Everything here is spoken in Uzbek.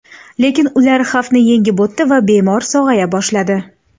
Lekin ular xavfni yengib o‘tdi va bemor sog‘aya boshladi.